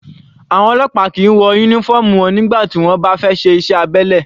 Àwọn ọlọ́pàá kìí wọ uniform wọn nígbà tí wọ́n bá fẹ́ ṣe iṣẹ́ abẹ́lẹ̀.